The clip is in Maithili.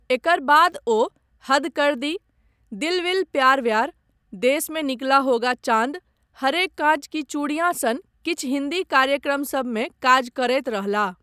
एकर बाद ओ हद कर दी, दिल विल प्यार व्यार, देस में निकला होगा चाँद, हरे काँच की चूड़ियाँ सन किछु हिन्दी कार्यक्रमसभमे काज करैत रहलाह।